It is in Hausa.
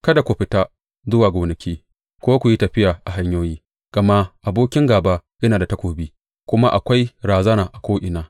Kada ku fita zuwa gonaki ko ku yi tafiya a hanyoyi, gama abokin gāba yana da takobi, kuma akwai razana ko’ina.